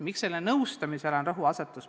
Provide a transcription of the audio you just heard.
Miks on rõhk pandud nõustamisele?